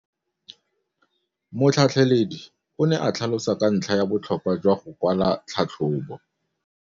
Motlhatlheledi o ne a tlhalosa ka ntlha ya botlhokwa jwa go kwala tlhatlhôbô.